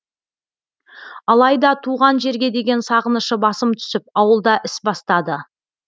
алайда туған жерге деген сағынышы басым түсіп ауылда іс бастады